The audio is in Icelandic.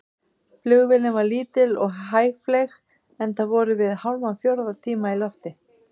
Flugvélin var lítil og hægfleyg, enda vorum við hálfan fjórða tíma í lofti.